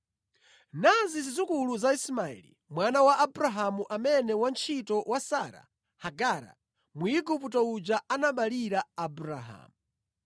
Nazi zidzukulu za Ismaeli, mwana wa Abrahamu amene wantchito wa Sara, Hagara Mwigupto uja, anaberekera Abrahamu.